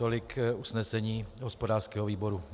Tolik usnesení hospodářského výboru.